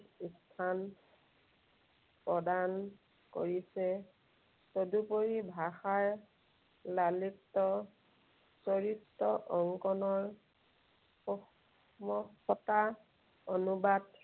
উপাদান প্ৰদান কৰিছে। তদুপৰি ভাষাৰ লালিত্য, চৰিত্ৰ অংকনৰ অনুবাদ